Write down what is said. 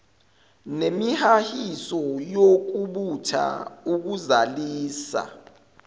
nemihahiso yokubutha ukuzalisa